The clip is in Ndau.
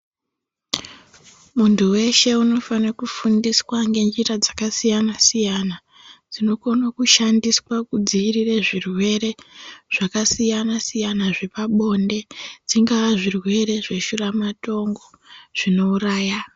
Muntu weshe unofane kufundiswa ngenjira dzakasiyana-siyana dzinokone kushandiswa kudziirire zvirwere zvakasiyana-siyana dzepabonde dzingaa zvirwere zveshuramatongo zvinouraya.